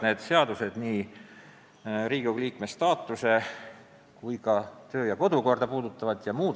Asi puudutab nii Riigikogu liikme staatuse seadust kui ka meie kodu- ja töökorda.